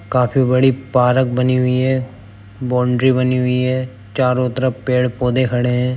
काफी बड़ी पारक बनी हुई ऐं | बोन्ड्री बनी हुई ऐं | चारो तरफ पेड़-पौधे खड़े ऐं ।